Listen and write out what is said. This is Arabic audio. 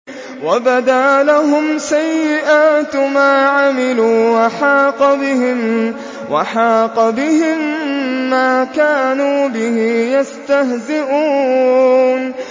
وَبَدَا لَهُمْ سَيِّئَاتُ مَا عَمِلُوا وَحَاقَ بِهِم مَّا كَانُوا بِهِ يَسْتَهْزِئُونَ